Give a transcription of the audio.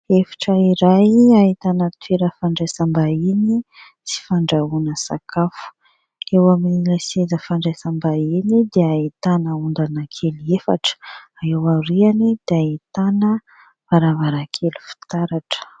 Efitra iray ahitana toerana fandraisam-bahiny sy fandrahoana sakafo, eo amin'ny ilay seza fandraisam-bahiny dia ahitana ondana kely efatra, eo aoriany dia ahitana varavarankely fitaratra.